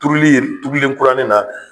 Turuli ye turulen kurani na